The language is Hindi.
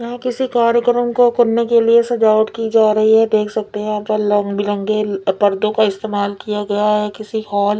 यहाँ किसी कार्यकरम को करने के लिए सजावट की जा रही है देख सकते हैं यहाँ पर लग बिरंगे अल पर्दों को इस्तेमाल किया गया है किसी हाल --